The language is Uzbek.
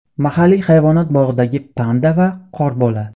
Mahalliy hayvonot bog‘idagi panda va qorbola.